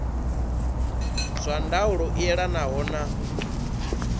zwa ndaulo i elanaho na